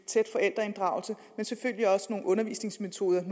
tæt forældreinddragelse til selvfølgelig også nogle undervisningsmetoder i